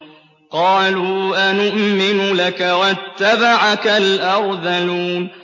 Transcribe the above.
۞ قَالُوا أَنُؤْمِنُ لَكَ وَاتَّبَعَكَ الْأَرْذَلُونَ